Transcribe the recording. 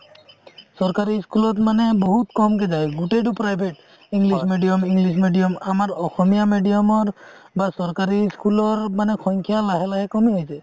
চৰকাৰি school মানে বহুত কমকে যাই গুতেইটো private english medium english medium আমাৰ অসমীয়া medium ৰ বা চৰকাৰি school ৰ সংখ্যা লাহে লাহে কমি আহিছে